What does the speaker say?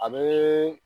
A bɛ